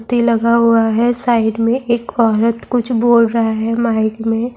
لگا ہوا ہے سائیڈ میں ایک عورت کچھ بول رہا ہے مائک میں